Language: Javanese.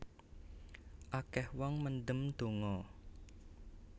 Akeh wong mendem donga